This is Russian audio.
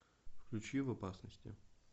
включи в опасности